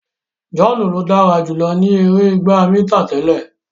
John ló dára jùlọ ní èrè ìgbà mítà tẹlẹ.